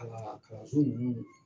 Ala kalanso ninnu